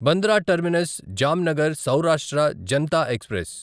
Bandra terminus Jamnagar Saurashtra Janata express